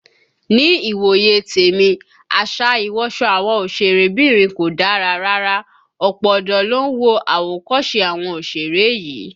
Ní ìwòye tèmi, àṣà ìwọsọ àwọn òsèré bìnrin kò dára rárá, ọ̀pọ̀ ọ̀dọ́ ló ń wo àwòkọ́se àwọn òsèré yìí